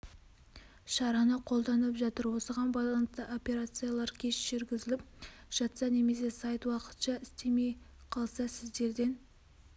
шараны қолданып жатыр осыған байланысты операциялар кеш жүргізіліп жатса немесе сайт уақытша істемей қалса сіздерден